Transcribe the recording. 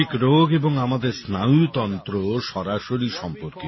মানসিক রোগ এবং আমাদের স্নায়ুতন্ত্র সরাসরি সম্পর্কিত